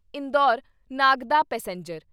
Indore Nagda passenger